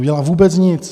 Neudělá vůbec nic.